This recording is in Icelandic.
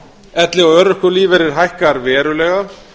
elli og örorkulífeyrir hækkar verulega